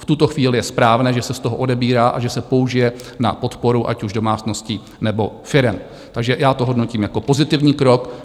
V tuto chvíli je správné, že se z toho odebírá a že se použije na podporu, ať už domácností, nebo firem, takže já to hodnotím jako pozitivní krok.